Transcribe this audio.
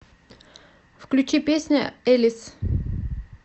включи песня элис